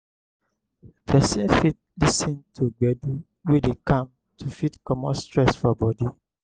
person fit lis ten to gbedu wey dey calm to fit comot stress for body